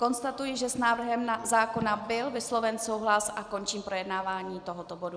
Konstatuji, že s návrhem zákona byl vysloven souhlas, a končím projednávání tohoto bodu.